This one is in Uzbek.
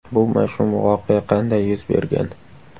Bu mash’um voqea qanday yuz bergan?